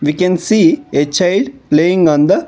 We can see a child playing on the --